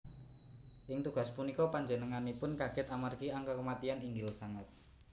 Ing tugas punika panjenenganipun kaget amargi angka kematian inggil sanget